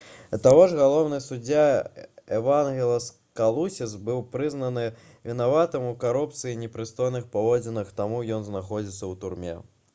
да таго ж галоўны суддзя эвангелас калусіс быў прызнаны вінаватым у карупцыі і непрыстойных паводзінах таму ён знаходзіцца ў турме